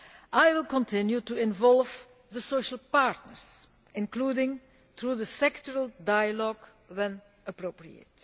I will continue to involve the social partners, including through sectoral dialogue when appropriate.